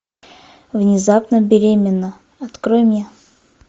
внезапно беременна открой мне